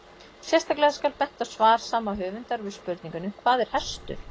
Sérstaklega skal bent á svar sama höfundar við spurningunni Hvað er hestur?